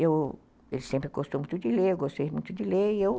Ele sempre gostou muito de ler, eu gostei muito de ler e eu